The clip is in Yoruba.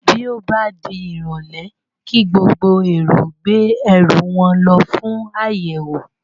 Bí ó bá di ìrọ̀lé kí gbogbo èrò gbé ẹrú wọn lọ fún àyẹ̀wò